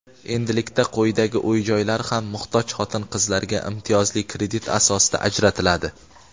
endilikda quyidagi uy-joylar ham muhtoj xotin-qizlarga imtiyozli kredit asosida ajratiladi:.